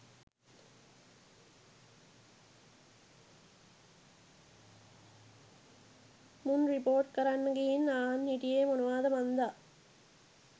මුන් රිපෝට් කරන්න ගිහින් අහන් හිටියෙ මොනවද මන්දා.